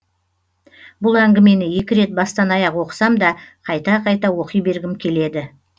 бұл әңгімені екі рет бастан аяқ оқысам да қайта қайта оқи бергім келеді